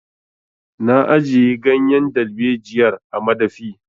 Na ajiye ganyen dalbejiyar a madafi.